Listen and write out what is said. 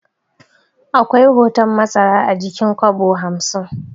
Akwai hoton masara a jikin kwabo hamsin